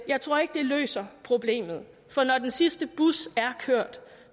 jeg tror ikke det løser problemet for når den sidste bus er kørt